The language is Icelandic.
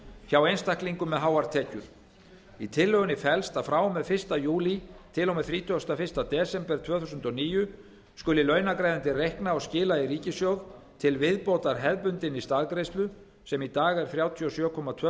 hjá einstaklingum með háar tekjur í tillögunni felst að frá og með fyrsta júlí til og með þrítugasta og fyrsta desember tvö þúsund og níu skal launagreiðandi reikna og skila í ríkissjóð til viðbótar hefðbundinni staðgreiðslu sem í dag er þrjátíu og sjö komma tvö